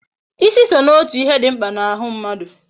Ịsị so n'otu ihe dị mkpa n'ahụ mmadụ